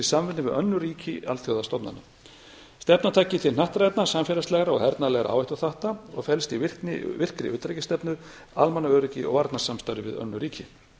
við önnur ríki alþjóðastofnana stefnan taki til hnattrænna samfélagslegra og hernaðarlegra áhættuþátta og felst í virkri utanríkisstefnu almannaöryggi og varnarsamstarfi við önnur ríki